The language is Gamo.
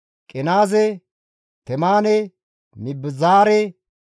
Qenaaze, Temaane, Mibizaare,